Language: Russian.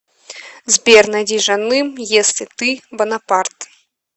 сбер найди жаным если ты бонапарт